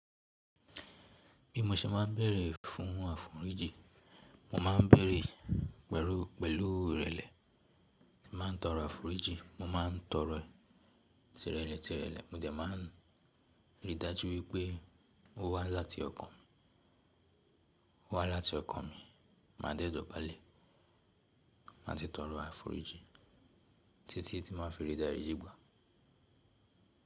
Bí mo ṣe máa ń bẹ̀erẹ̀ fún àforíjì, mo ma ń bẹ̀erẹ̀ pẹ̀lú ìrẹlẹ. Máa ń tọrọ àforíjì, mo maa ń tọrọ e tirẹlẹ tirẹ́lẹ. Mó dé maa n rí dájú wípé ó wá láti ọkàn mi, ó wá láti ọkàn mi. Máa dẹ́ dọ̀bálẹ̀, máà si tọrọ àforíjìn títí tí máa fi rí dáju wipe.